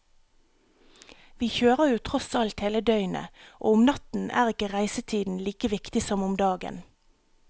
Vi kjører jo tross alt hele døgnet, og om natten er ikke reisetiden like viktig som om dagen.